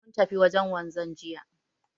Mun tafi wajen wanzan jiya